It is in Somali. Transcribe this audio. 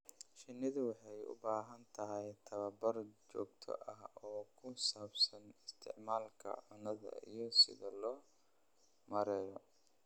Shinnidu waxay u baahan tahay tababar joogto ah oo ku saabsan isticmaalka cunnada iyo sida loo maareeyo.